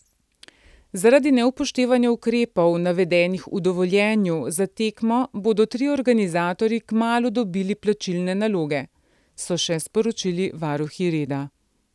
Zaradi neupoštevanja ukrepov navedenih v dovoljenju za tekmo bodo trije organizatorji kmalu dobili plačilne naloge, so še sporočili varuhi reda.